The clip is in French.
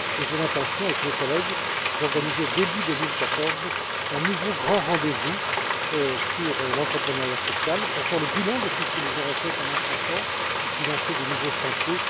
J'ai l'intention, avec mes collègues, d'organiser début 2014 un nouveau grand rendez vous sur l'entrepreneuriat social pour faire le bilan de tout ce que nous aurons fait pendant cinq ans et lancer de nouveaux chantiers.